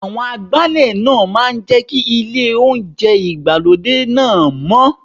Àwọn Agbálẹ̀ náà máa jẹ́ kí ilé oúnjẹ ìgbàlódé náà mọ́.